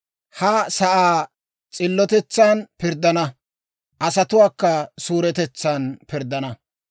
Ha sa'aa s'illotetsan pirddana; asatuwaakka suuretetsaan pirddana.